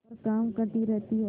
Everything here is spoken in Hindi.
पर काम करती रहती है